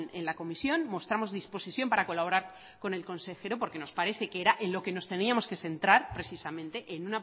en la comisión mostramos disposición para colaborar con el consejero porque nos parece que era en lo que nos teníamos que centrar precisamente